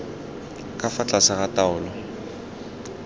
ka fa tlase ga taolo